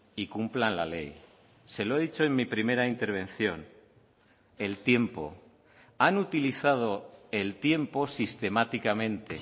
y cumplan la ley se lo he dicho en mi primera intervención el tiempo han utilizado el tiempo sistemáticamente